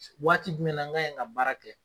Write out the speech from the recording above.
Waati jumɛn na n ka yen ka baara kɛ.